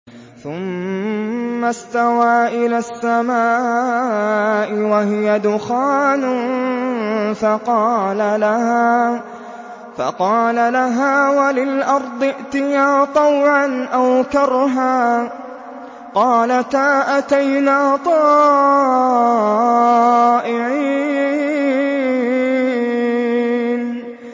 ثُمَّ اسْتَوَىٰ إِلَى السَّمَاءِ وَهِيَ دُخَانٌ فَقَالَ لَهَا وَلِلْأَرْضِ ائْتِيَا طَوْعًا أَوْ كَرْهًا قَالَتَا أَتَيْنَا طَائِعِينَ